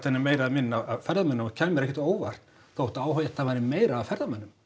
er meiri eða minni af ferðamönnum og það kæmi mér ekkert á óvart þótt áhættan væri meiri af ferðamönnum